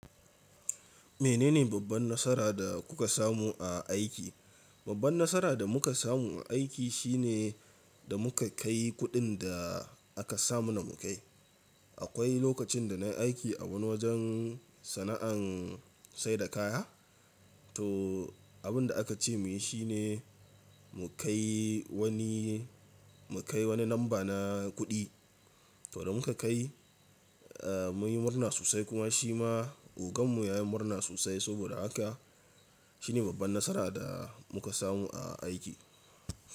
Menene babban nasara da kuka samu a aiki? Babban nasara da muka samu a aiki shine da muka kai kuɗin da aka sama na mu kai. Akwai lokacin da na yi aiki a wani wajen sana’an saida kaya, to abin da aka ce mu yi shi ne mu kai wani, mu kai wani lamba na kuɗi. To da muka kai, eh mun yi murna sosai kuma shi ma ogan mu ya yi murna sosai. Saboda haka shine babban nasara da muka samu a aiki.